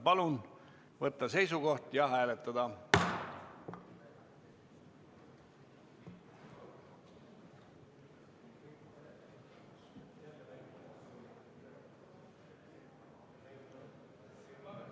Palun võtta seisukoht ja hääletada!